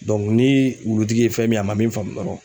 ni wulutigi ye fɛn min a ma min faamu dɔrɔn.